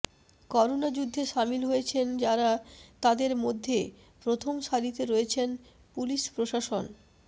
corona যুদ্ধে সামিল হয়েছেন যারা তাদের মধ্য়ে প্রথম সারিতে রয়েছেন পুলিশ প্রশাসন